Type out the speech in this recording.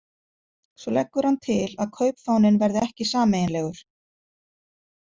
Svo leggur hann til að kaupfáninn verði ekki sameiginlegur.